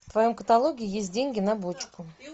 в твоем каталоге есть деньги на бочку